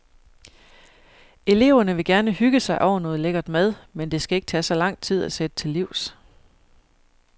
Eleverne vil gerne hygge sig over noget lækkert mad, men det skal ikke tage så lang tid at sætte til livs.